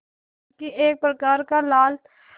बल्कि एक प्रकार का लाल